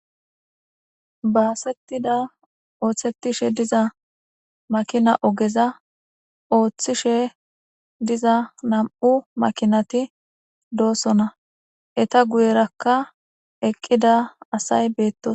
Baasettida ooththettishe diza makina ogeza ooththishe diza nam7u makinati doosona eta guyerakka eqqida asay beetto